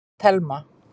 Telma